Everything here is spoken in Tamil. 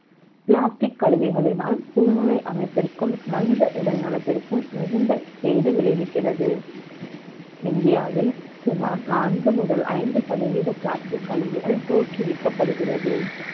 Plastic க் கழிவுகளினால் புழ்லே அமைப்பிற்கும் மனித அமைப்பிற்கும் மிகுந்த கேடு விளைவிக்கிறது இந்தியாவில் சுமார் நான்கு முதல் ஐந்து சதவீதம் Plastic க் கழிவுகள் தோற்றுவிக்கப்படுகிறது